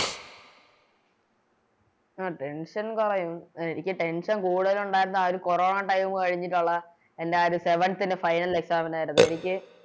അഹ് Tension കൊറയും എനിക്ക് Tension Tension കൂടുതലൊണ്ടാരുന്നത് ആ ഒരു കൊറോണ Time കഴിഞ്ഞിട്ടുള്ള എൻറെ ആ ഒരു Seventh ലെ Final exam ആയിരുന്നു എനിക്ക്